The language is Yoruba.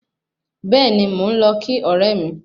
Bẹ́ẹ̀ni, mo lọ kí ọ̀rẹ́ mi